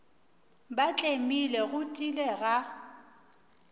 ba tlemile go tiile ga